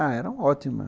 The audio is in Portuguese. Ah, era ótima.